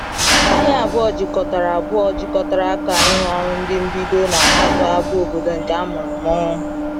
Anyị abụọ jikọtara abụọ jikọtara aka ịrụ ọrụ ndị mbido na Harthau bụ obodo nke a mụrụ m.